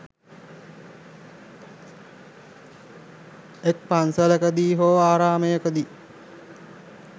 එක් පන්සලකදී හෝ ආරාමයකදී